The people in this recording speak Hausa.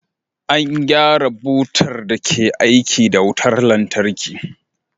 An gyara butar da ke aiki da wutar lantarki.